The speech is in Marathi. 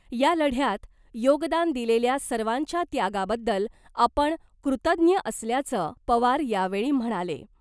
या लढ्यात योगदान दिलेल्या सर्वांच्या त्यागाबद्दल आपण कृतज्ञ असल्याचं , पवार यावेळी म्हणाले .